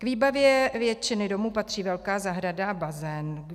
K výbavě většiny domů patří velká zahrada a bazén.